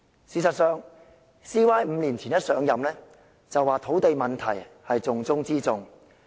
事實上 ，CY 在5年前剛上任便說土地問題是重中之重。